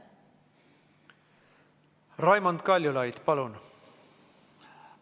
Raimond Kaljulaid, palun!